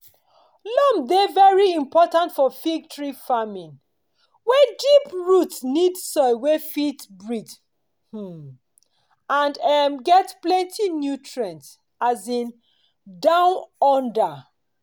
loam dey very important for fig tree farming were deep roots need soil wey fit breathe um and um get plenty nutrients um down under.